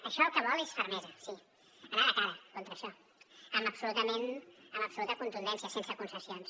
això el que vol és fermesa sí anar de cara contra això amb absoluta contundència sense concessions